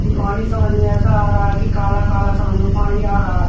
कि पानी समझ में ऐसा आ रहा कि काला काला समझ में पानी आ रहा है।